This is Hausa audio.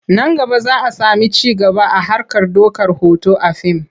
Nan gaba za a sami ci gaba a harkar ɗaukar hoto a fim.